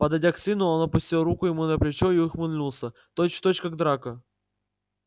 подойдя к сыну он опустил руку ему на плечо и ухмыльнулся точь-в-точь как драко